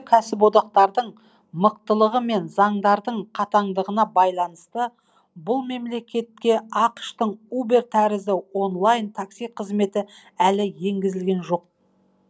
кәсіподақтардың мықтылығы мен заңдардың қатаңдығына байланысты бұл мемлекетке ақш тың убер тәрізді онлайн такси қызметі әлі енгізілген жоқ